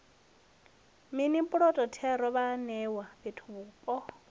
mini puloto thero vhaanewa fhethuvhupo